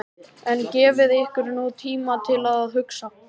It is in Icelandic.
En gefið ykkur nú tíma til að hugsa.